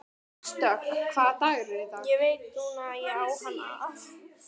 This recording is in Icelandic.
Ég veit núna að ég á hann að.